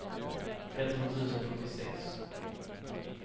tretton tusen sjuttiosex